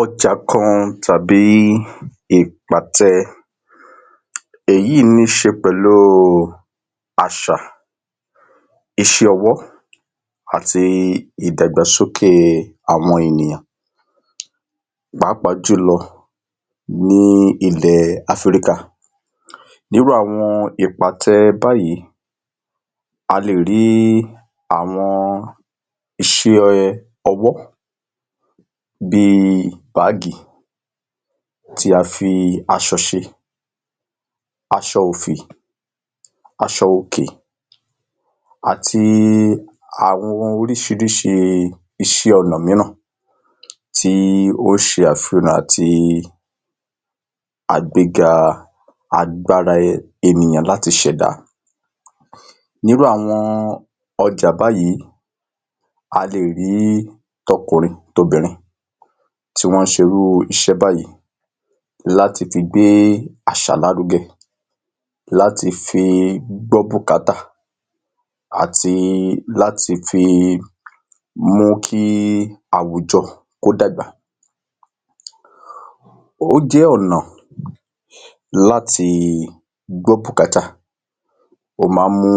Ọjà kan tàbí ìpàtẹ. Èyí ní í ṣe pẹ̀lú àṣà, iṣẹ́ ọwọ́ àti ìdàgbàsókè àwọn ènìyàn, pàápàá jùlọ ní ilẹ̀ Áfíríkà. Nírú àwọn ìpàtẹ báyìí, a lè rí àwọn iṣẹ́ ọwọ́, bí i báàgì tí a fi aṣọ ṣe, aṣọ òfì, aṣọ òkè, àti àwọn ohun oríṣiríṣi iṣẹ́ ọnà mìíràn tí ó ṣe àfihàn àti àgbẹga agbára ènìyàn láti ṣẹ̀dá. Nírú àwọn ọjà báyìí, a lè rí tọkùnrin tobìnrin tí wọ́n ṣe irú iṣẹ́ báyìí láti fi gbé àṣà lárugẹ, láti fi gbọ́ bùkátà àti láti fi mú kí àwùjọ kó dàgbà. Ó jẹ́ ọ̀nà láti gbọ́ bùkátà, ó máa ń mú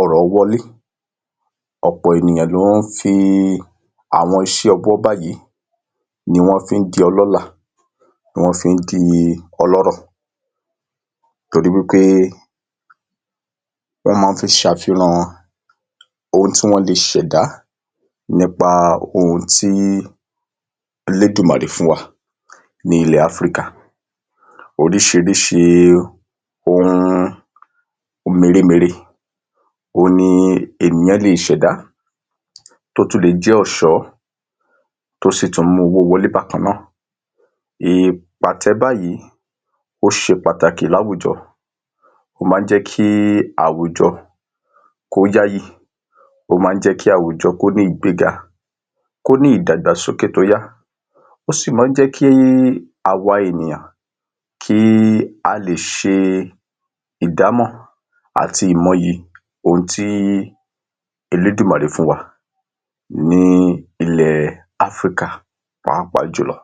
ọrọ̀ wọlé, ọ̀pọ̀ ènìyàn ló ń fi àwọn iṣẹ́ ọwọ́ báyìí ni wọ́n fi ń di ọlọ́lá, ni wọ́n fi ń di ọlọ́rọ̀, torí wípé wọ́n máa ń fi ṣàfihàn ohun tí wọ́n lè ṣẹ̀dá nípá ohun tí elédùmarẹ̀ fún wa ní ilẹ̀ Áfríkà. Oríṣiríṣi ohun mèremère òhun ni ènìyàn le è ṣẹ̀dá, tó tún lè jẹ́ ọ̀ṣọ́, tó sì tún ń mú owó wọlé bákan náà. Ìpàtẹ báyìí, ó ṣe pàtàkì láwùjọ, ó máa ń jẹ́ kí àwùjọ kó yááyì, ó máa ń jẹ́ kí àwùjọ kó ní ìgbéga, kó ní ìdàgbàsókè tó yá, ó sì máa ń jé kí àwọn ènìyàn kí a lè ṣe ìdámọ̀ àti ìmọyì ohun tí elédùmarè fún wa ní ilẹ̀ Áfríkà pàápàá jùlọ